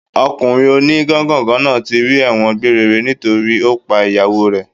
Ọkùnrin o ní gángàngàn náà ti rì ẹ̀wọ̀n gbére re nítorí ó pa ìyàwó rẹ